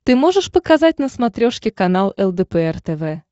ты можешь показать на смотрешке канал лдпр тв